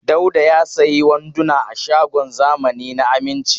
Dauda ya sayi wanduna a shagon zamani na Aminci.